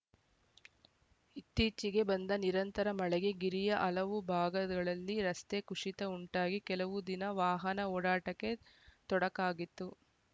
ಇತ್ತೀಚೆಗೆ ಬಂದ ನಿರಂತರ ಮಳೆಗೆ ಗಿರಿಯ ಹಲವು ಭಾಗದೊಲದಿ ರಸ್ತೆ ಕುಶಿತ ಉಂಟಾಗಿ ಕೆಲವು ದಿನ ವಾಹನ ಓಡಾಟಕ್ಕೆ ತೊಡಕಾಗಿತ್ತು